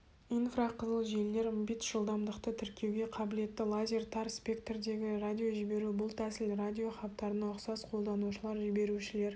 инфрақызыл желілер мбитс жылдамдықты тіркеуге қабілетті лазер тар спектрдегі радиожіберу бұл тәсіл радиохабарына ұқсас қолданушылар жіберушілер